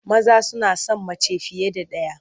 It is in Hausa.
Maza suna son mace fiye da ɗaya.